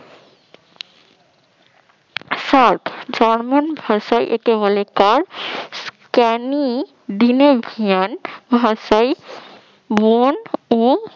German ভাষায় একে বলে কার্ভস, ক্যানি ডিনেভিয়ান ভাষায় মন ও